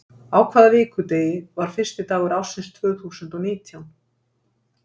Á hvaða vikudegi var fyrsti dagur ársins tvö þúsund og nítján?